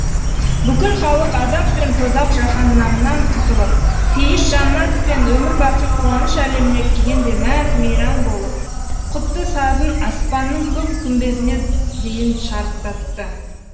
бүкіл халық азап пен тозақ жаһаннамнан құтылып пейіш жаннат пен өмірбақи қуаныш әлеміне кіргендей мәз мейрам болып құтты сазын аспанның көк күмбезіне дейін шарықтатты